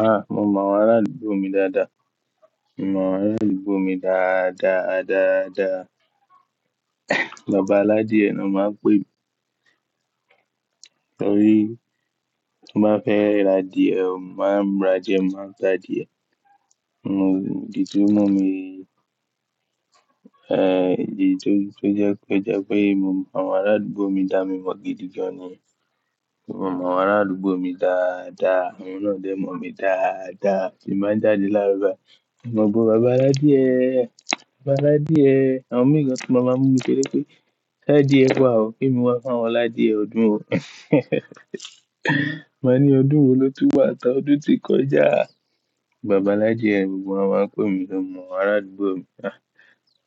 Aà, mo mọ àwọn ará àdúgbò mi dáadáa. Mo mọ àwọn ará àdúgbò mi dáadáa, dáadáa. Bàbá aládiè ni wọ́n máa ń pè mí. Torí tí mo bá fẹ́ r'adíẹ̀, wọ́n máa ń r'adiẹ, mo máa n t'ádie. N ò díje mọ̀ mí, di tó, tó jẹ́ pé, jẹ́ pé mo mọ àwọn ará àdúgbò mi dá, mi mọ gidi gan ni. Mo mọ àwọn ará àdúgbò mi dáadáa, àwọn náà dẹ̀ mọ̀ mí dáadáa. Tí n bán jáde láaro bài, in mo gbo bàbá aládiè, bàbá aládiè, àwọn mìíràn gan tun mama mú mi ṣeré pé, "Ṣ'àdíè wa ọ, k'emi wá fúnwọn l'ádiè ọdún o." Ma ní ọdún wo ló tún wà n tá ọdún tí kọjá? Bàbá aládiè gbogbo wọ́n máa ń pè mí tori mó mọ àwọn ará àdúgbò mi.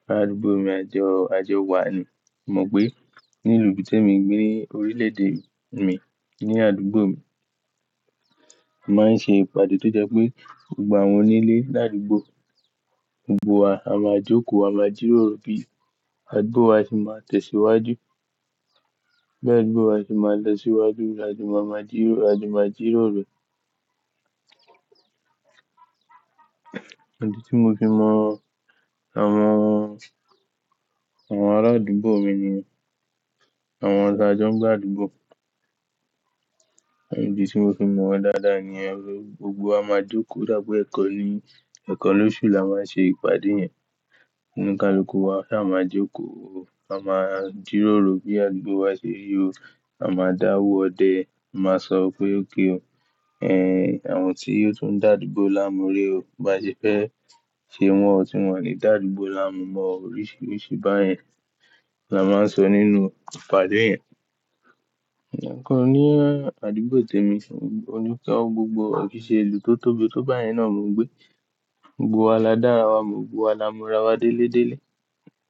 Ará àdúgbò mi ajọ, ajọ wa ni. Mo mọ pé ní ìlú tí ẹmi gbé ní orílè-èdè mi, ní àdúgbò mi, a máa ń ṣe ìpàdé tó jẹ́ pé gbogbo àwọn onílé ládùúgbò gbogbo wa a máa jókòó, a máa jíròrò bí àdúgbò wa ṣe máa tẹ̀síwájú. Bí àdúgbò wa ṣe máa lọ síwájú, a jo máa máa jíròó, a jo máa jíròrò. Ìdì tí mo fi mọ àwọn, àwọn ará àdúgbò mi niyen àwọn ta joń gb'àdúgbò. Ìdì tí mo fi mọ̀ wọ́n dáadáa niyen gbogbo wa máa jókòó o dápe ẹ̀ekan ni, ẹ̀kan lóṣù la máa ń ṣe ìpàdé yẹn. Oníìkálukú wa ta máa jókòó o. A máa jíròrò bí àdúgbò wa ṣe rí o. A máa dáwọ́ ọdẹ, a máa sọ pé okay o. Àwọn tí ó tún dàdúgbò laamú re o, bá ṣe fẹ́ ṣe wọn, tí wọn ò ni dàdúgbò laamú mọ oríṣiríṣi báyẹn. La máa ń sọ nínú ìpàdé yẹn. Ǹkàn ní àdúgbò tèmi, oníkà gbogbo kò kiì ṣẹ ìlú tó tóbi tó báyẹn náà mo gbé. Gbogbo wa la dára wa mo, gbogbo wa la mora wa délé délé.